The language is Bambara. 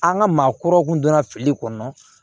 An ka maakɔrɔw kun donna fili kɔnɔ